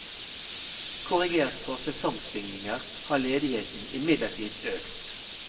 Korrigert for sesongsvingninger har ledigheten imidlertid økt.